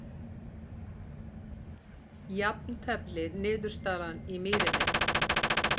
Jafntefli niðurstaðan í Mýrinni